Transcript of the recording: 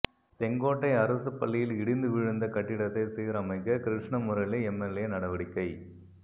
செங்கோட்டை அரசு பள்ளியில் இடிந்து விழுந்த கட்டிடத்தை சீரமைக்க கிருஷ்ணமுரளி எம்எல்ஏ நடவடிக்கை